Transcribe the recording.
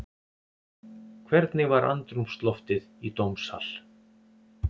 Hvernig var andrúmsloftið í dómssal?